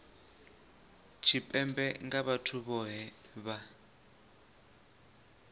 tshipembe nga vhathu vhohe vha